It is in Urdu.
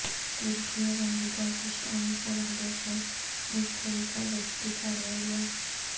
ترکی اور امریکہ کی شامی سرحدوں پر مشترکہ گشتی کاروائیاں